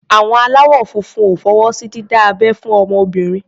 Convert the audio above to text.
Àwọn aláwọ̀ funfun ò fọwọ́ sí dídá abẹ́ fún obìnrin.